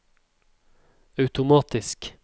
automatisk